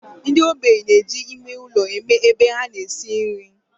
Ndi ogbenye na-eji ime ulo eme ebe a na-esi nri.